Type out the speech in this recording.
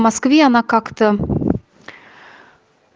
москве она как-то